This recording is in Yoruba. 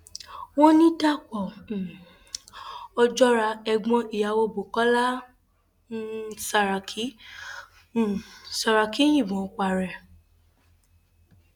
wọn ní dapò um ojora ẹgbọn ìyàwó bukola um saraki um saraki yìnbọn para ẹ